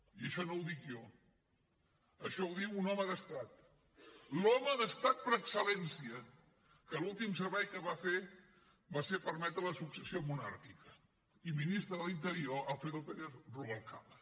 i això no ho dic jo això ho diu un home d’estat l’home d’estat per excel·lència que l’últim servei que va fer va ser permetre la successió monàrquica i ministre de l’interior alfredo pérez rubalcaba